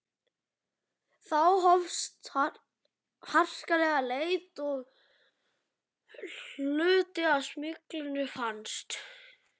Þá hófst harkaleg leit og hluti af smyglinu fannst.